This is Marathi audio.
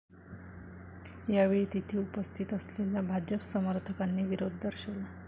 यावेळी तिथे उपस्थित असलेल्या भाजप समर्थकांनी विरोध दर्शवला.